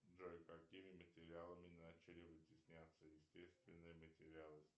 джой какими материалами начали вытесняться естественные материалы